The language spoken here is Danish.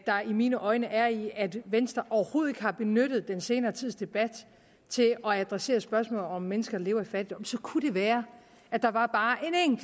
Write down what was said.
mine øjne er i at venstre overhovedet ikke har benyttet den senere tids debat til at adressere spørgsmålet om om mennesker lever i fattigdom så kunne det være at der var bare